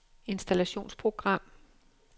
installationsprogram